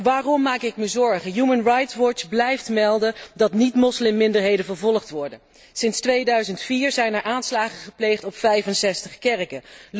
Waarom maak ik me zorgen? Human Rights Watch blijft melden dat niet moslimminderheden vervolgd worden. Sinds 2004 zijn er aanslagen gepleegd op 65 kerken.